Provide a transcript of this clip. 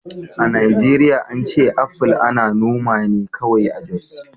A Najeriya an ce apple ana noma ne kawai a Jos